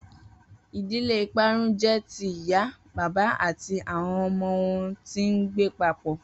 Idile iparun jẹ ti iya, baba ati awọn ọmọ wọn ti ngbe papọ.